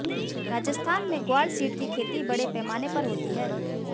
राजस्थान में ग्वार सीड की खेती बड़े पैमाने पर होती है